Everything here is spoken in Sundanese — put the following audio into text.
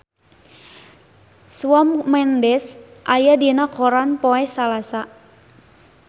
Shawn Mendes aya dina koran poe Salasa